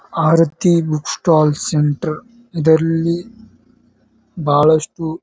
ಆರತಿ book stall centre ಇದರಲ್ಲಿ ಬಹಳಷ್ಟು.